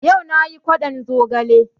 Yau nayi kwaɗon zogale